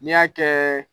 N'i y'a kɛ